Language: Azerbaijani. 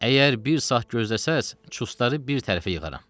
Əgər bir saat gözləsəniz, çustları bir tərəfə yığaram.